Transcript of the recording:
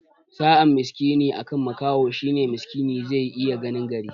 Sa'an miskini akan makaho shine miskini zai iya ganin gari